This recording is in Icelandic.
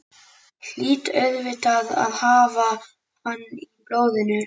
Hlýt auðvitað að hafa hann í blóðinu.